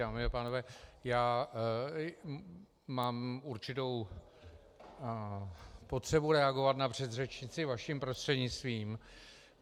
Dámy a pánové, já mám určitou potřebu reagovat na předřečnici vaším prostřednictvím.